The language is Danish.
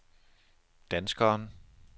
danskeren